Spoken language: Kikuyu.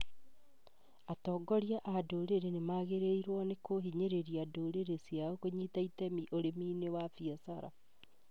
Atongoria a ndũrĩrĩ nĩ magĩrĩirwo nĩ kũhinyĩrĩria ndũrĩrĩ ciao kũnyita itemi ũrĩmi-inĩ wa biacara